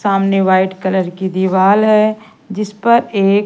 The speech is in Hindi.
सामने व्हाइट कलर की दीवाल है जिस पर एक--